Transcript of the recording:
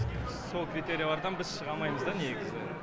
сол критериялардан біз шыға алмаймыз да негізі